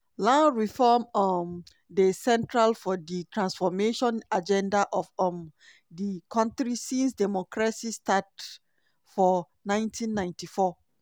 land reform um dey central for di transformation agenda of um di kontri since democracy start for 1994.